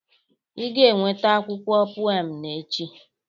Ị ga-eweta akwụkwọ pụem m echi!